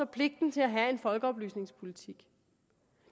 pligten til at have en folkeoplysningspolitik